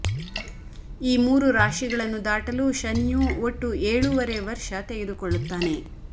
ಈ ಮೂರು ರಾಶಿಗಳನ್ನು ದಾಟಲು ಶನಿಯು ಒಟ್ಟು ಏಳೂವರೆ ವರ್ಷ ತೆಗೆದುಕೊಳ್ಳುತ್ತಾನೆ